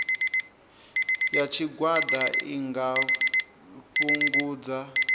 ya tshigwada i nga fhungudza